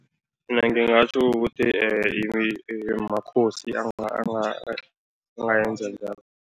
Mina ngingatjho ukuthi makhosi angayenza njalo.